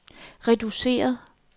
reduceret